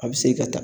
A bɛ se ka ta